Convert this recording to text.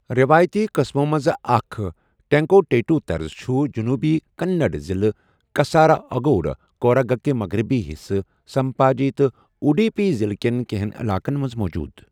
رٮ۪وٲیتی قٕسمو منٛزٕ اَکھ، ٹیٚنٛکوٹیٖٹوٗ طرٕز، چُھ جٔنوٗبی کنٛنَڑ، ضِلعہٕ کَساراگوڈ، کوٗرَگٕکہِ مغرِبی حِصہٕ سمپاجی تہٕ اُڈیٖپی ضِلعہٕ کیٚن کینٛہن علاقن منٛز موجوٗد۔